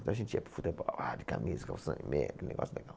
Então a gente ia para o futebol, ah de camisa, calção e meia, que negócio legal.